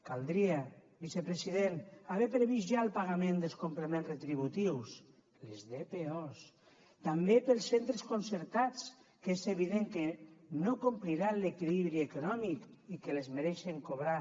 caldria vicepresident haver previst ja el pagament dels complements retributius les dpos també per als centres concertats que és evident que no compliran l’equilibri econòmic i que les mereixen cobrar